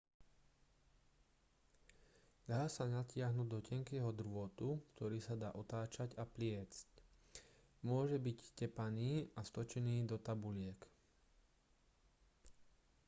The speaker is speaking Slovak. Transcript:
dá sa natiahnuť do tenkého drôtu ktorý sa dá otáčať a pliesť môže byť tepaný a stočený do tabuliek